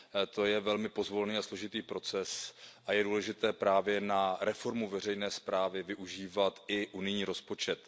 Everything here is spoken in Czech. To je velmi pozvolný a složitý proces a je důležité právě na reformu veřejné správy využívat i unijní rozpočet.